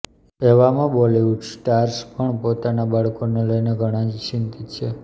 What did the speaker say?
એવામાં બોલિવૂડ સ્ટાર્સ પણ પોતાના બાળકોને લઈને ઘણાં જ ચિંતિત છે